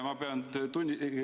Tänan!